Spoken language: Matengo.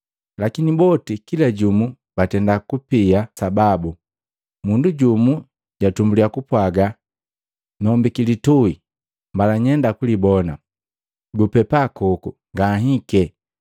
Lakini boti kila jumu batenda kupia sababu. Mundu juku tumbuli, japwaga ‘Nombiki litui, mbala nyenda kulibona, gupepa koku ngahike.’